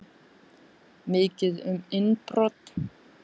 Mikið um innbrot